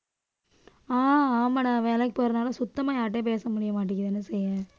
அஹ் ஆமாடா வேலைக்கு போறதுனால சுத்தமா யார்கிட்டயும் பேச முடிய மாட்டேங்குது என்ன செய்ய